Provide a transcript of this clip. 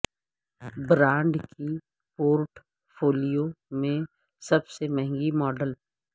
brand کی portfolio میں سب سے مہنگی ماڈل